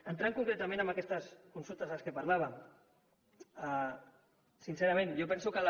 entrant concretament en aquestes consultes de què parlàvem sincerament jo penso que les